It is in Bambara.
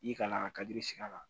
I kana kadi siŋa la